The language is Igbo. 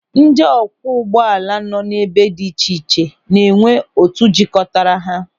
Ndị ọ kwụọ ụgbọala nọ n'ebe dị iche iche na-enwe otu jikọtara ha.